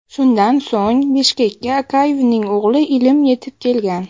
Shundan so‘ng, Bishkekka Akayevning o‘g‘li Ilim yetib kelgan.